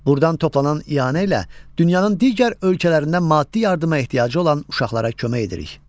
Burdan toplanan ianə ilə dünyanın digər ölkələrindən maddi yardıma ehtiyacı olan uşaqlara kömək edirik.